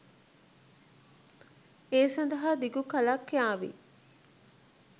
ඒ සදහා දිගු කලක් යාවි.